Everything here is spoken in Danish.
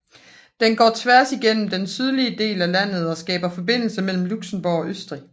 Den går tværs igennem den sydlige del af landet og skaber forbindelse mellem Luxembourg og Østrig